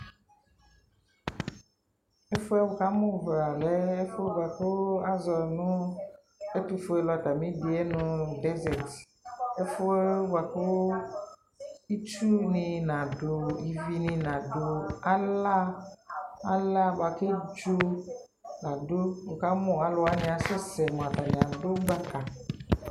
ɛfuɛ wukamu vla lɛɛ ɛfuɛ bua ku aʒɔ nu ɛtufuelu atamidiɛ nu dɛʒɛt ɛfuɛ bua kuu itsuni nadu ivini naduu alaa alaa bua keɖʒo la duuWukamu aluwa asɛsɛ muatani adu gbaka